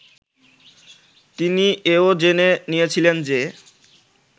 তিনি এও জেনে নিয়েছিলেন যে